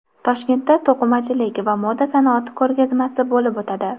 Toshkentda to‘qimachilik va moda sanoati ko‘rgazmasi bo‘lib o‘tadi.